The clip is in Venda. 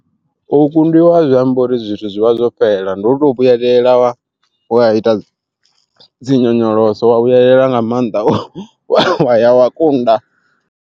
U kundiwa azwi ambi uri zwithu zwi vha zwofhela, ndi u to vhuyelela wa ita dzi nyonyoloso wa vhuyelela nga maanḓa wa ya wa kunda.